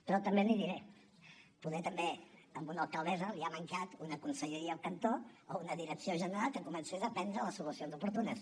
però també l’hi diré poder també a una alcaldessa li ha mancat una conselleria al cantó o una direcció general que comencés a prendre les solucions oportunes